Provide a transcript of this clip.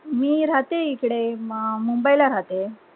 मी राहते इकडे हम्म मुंबई ला राहते